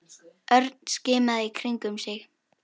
Örn skimaði í kringum sig.